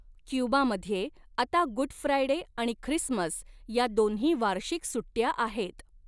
क्युबामध्ये आता good Friday आणि Christmas या दोन्ही वार्षिक सुट्ट्या आहेत.